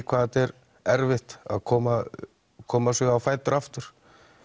hvað þetta er erfitt að koma koma sér á fætur aftur